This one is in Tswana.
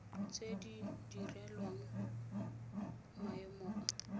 tse di direlwang maemo a